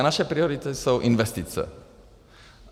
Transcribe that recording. A naše priority jsou investice.